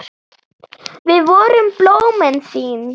Við vorum blómin þín.